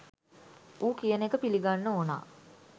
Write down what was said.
ඌ කියන එක පිලිගන්න ඕනා